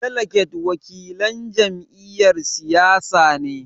Daliget wakilan jam'iyyar siyasa ne.